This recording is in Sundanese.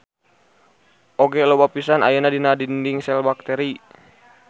Oge loba pisan ayana dina dinding sel bakteri.